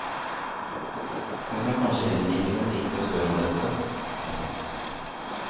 Hun er kanskje heller ikke den riktige å spørre om dette. punktum